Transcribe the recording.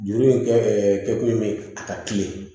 Juru in kɛ ɛ kɛkun bɛ a ka kilen